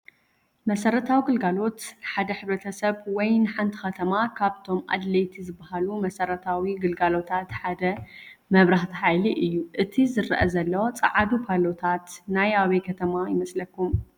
መሰረታዊ ኣገልግሎት፡- ንሓደ ሕ/ሰብ ወይ ንሓንቲ ከተማ ካብቶም ኣድለይቲ ዝባሃሉ መሰረታዊ ኣገልግሎታት ሓደ መብራህቲ ሓይሊ እዩ፡፡ እቲ ዝረአ ዘሎ ፃዓዱ ፓሎታት ናይ ኣበይ ከተማ ይመስለኩም?